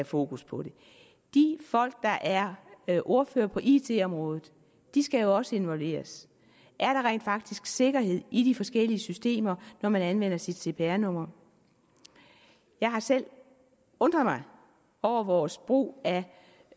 fokus på det de folk der er er ordførere på it området skal jo også involveres er der rent faktisk sikkerhed i de forskellige systemer når man anvender sit cpr nummer jeg har selv undret mig over vores brug